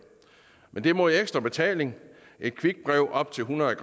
men det er mod ekstra betaling et quickbrev på op til hundrede